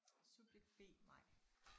Subjekt B Mai